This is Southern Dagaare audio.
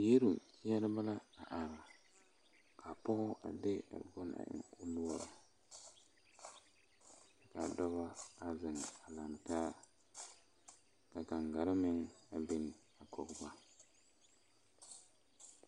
Yiele ŋmeɛrɛ be la ka a pɔge a de a bone ennɛ o noɔreŋ ka a dɔbɔ a zeŋ a lantaa ka kaŋgare meŋ a biŋ a kɔge ba.